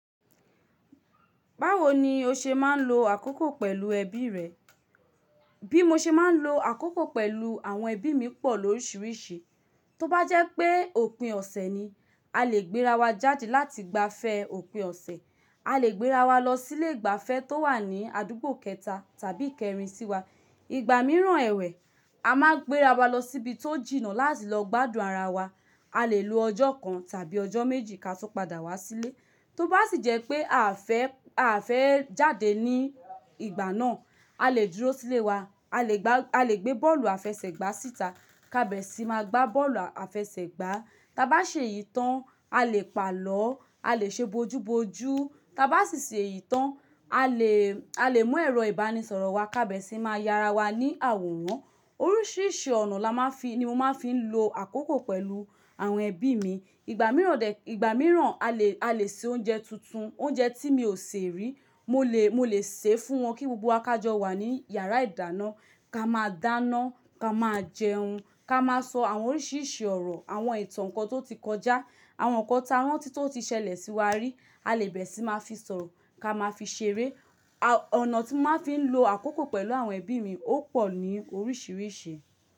Báwo ni o ṣe máa ń lo àkókò pẹ̀lú ẹbí rẹ? Bí mo ṣe máa ń lo àkókò pẹ̀lú àwọn ẹbí mi pọ̀ lóríṣiríṣi. Tóbá jẹ́ pé òpin ọ̀sẹ̀ ni, a lè gbéra wa jáde láti gba fẹ́ òpin ọ̀sẹ̀. A lè gbéra wa lọ sí ilé ìgbafẹ́ tó wà ní àdúgbò kẹta tàbí kẹrin sí wa. Ìgbà mìíràn ẹ̀wẹ̀, a máa gbéra wa lọ síbi tó jìnnà láti lọ gbádùn ara wa. A lè lo ọjọ́ kan tàbí ọjọ́ méjì ka tó padà wá sílé. Tóbá sì jẹ́ pé à fẹ́, à fẹ́ jáde ní ìgbà náà, a lè dúró sílé wa, a lè gbá, a lè gbé bọ́ọ̀lù àfẹsẹ̀gbá síta ká bẹ̀ sí máa gbá bọ́ọ̀lù àfẹsẹ̀gbá. Taa bá ṣe ìtàn, a lè pàlọ́, a lè ṣe bojúbojú. Taa bá sì ṣe ìtàn, a lè, a lè mú ẹ̀rọ ìbánisọ̀rọ̀ wa ká bẹ̀ sí máa ya ara wa ní àwòrán. Oríṣiríṣi ọ̀nà la máa fi ni mo máa fi ń lo àkókò pẹ̀lú àwọn ẹbí mi. Ìgbà mìíràn dè, ìgbà mìíràn a lè, a lè ṣe oúnjẹ tuntun. Oúnjẹ tí mi ò ṣe rí, mo lè, mo lè ṣe fún wọn kí gbogbo wa kájọ́ wà ní yàrá ìdáná. Ka máa dáná, ka máa jẹun, ka máa sọ àwọn oríṣiríṣi ọ̀rọ̀, àwọn ìtàn kan tó ti kọjá, àwọn nǹkan táwọn ti tó ti ṣẹlẹ̀ sí wa rí. A lè bẹ̀ sí máa fi sọ̀rọ̀, ka máa fi ṣeré. Ọ̀nà tí mo máa ń fi ń lo àkókò pẹ̀lú àwọn ẹbí mi ó pọ̀ ní oríṣiríṣi.